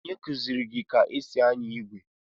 Onye kụziiri gị ka e si anya igwe?